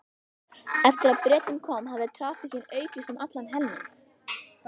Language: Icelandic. Eftir að Bretinn kom hafði traffíkin aukist um allan helming.